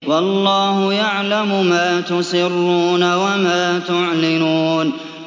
وَاللَّهُ يَعْلَمُ مَا تُسِرُّونَ وَمَا تُعْلِنُونَ